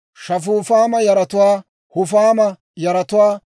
Shafufaama yaratuwaa, Hufaama yaratuwaa,